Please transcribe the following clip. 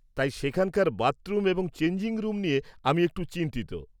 তাই, সেখানকার বাথরুম এবং চেঞ্জিং রুম নিয়ে আমি একটু চিন্তিত।